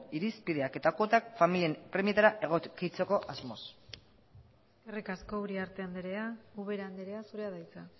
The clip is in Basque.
irizpideak eta kuotak familien premietara egokitzeko asmoz eskerrik asko uriarte andrea ubera andrea zurea da hitza